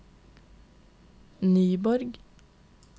Nyborg